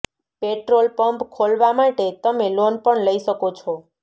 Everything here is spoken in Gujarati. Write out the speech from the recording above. પેટ્રોલ પંપ ખોલવા માટે તમે લોન પણ લઈ શકો છો